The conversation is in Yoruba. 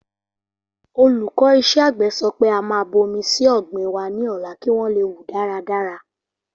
Olùkọ́ iṣẹ́ àgbẹ̀ sọ pé a máa bomi síí ọ̀gbìn wa ní ọ̀la kí wọn leè wù dára dára